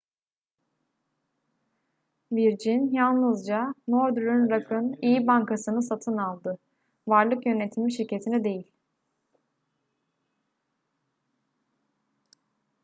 virgin yalnızca northern rock'ın iyi bankasını satın aldı varlık yönetimi şirketini değil